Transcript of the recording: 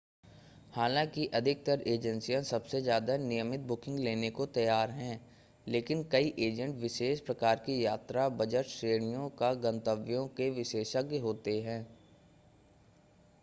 हालाँकि अधिकतर एजेंसियाँ ​​सबसे ज़्यादा नियमित बुकिंग लेने को तैयार हैं लेकिन कई एजेंट विशेष प्रकार की यात्रा बजट श्रेणियों या गंतव्यों के विशेषज्ञ होते हैं